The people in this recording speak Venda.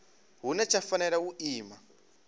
hune tsha fanela u ima